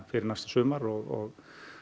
fyrir næsta sumar og